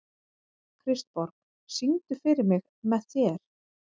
Kristborg, syngdu fyrir mig „Með þér“.